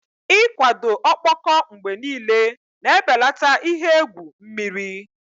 Ịkwado ọkpọkọ mgbe niile na-ebelata ihe egwu mmiri.